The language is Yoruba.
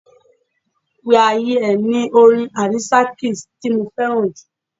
We are here' ni orin Alicia Keys ti mo fẹ́ràn jù.